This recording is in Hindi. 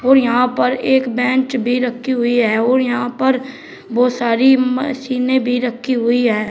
और यहां पर एक बेंच भी रखी हुई है और यहां पर बोहोत सारी मशीनें भी रखी हुई है।